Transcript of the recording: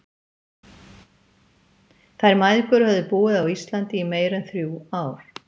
Þær mæðgur höfðu búið á Íslandi í meira en þrjú ár.